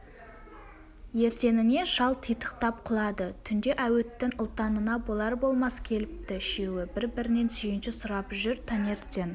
ертеңіне шал титықтап құлады түнде әуіттің ұлтанына болар-болмас келіпті үшеуі бір-бірінен сүйінші сұрап жүр таңертең